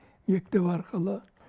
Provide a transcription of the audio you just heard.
мектеп арқылы